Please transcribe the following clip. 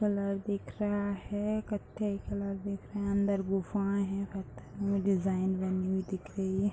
colour दिख रहा है कत्थे कलर दिख रहा अंदर गुफाएं है घर में डिज़ाइन बने हुए दिख रही --